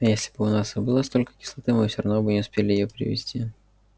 а если бы у нас и было столько кислоты мы всё равно не успели бы её привезти